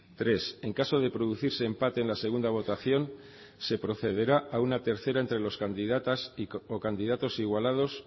tres en caso de producirse empate en la segunda votación se procederá a una tercera entre las candidatas o candidatos igualados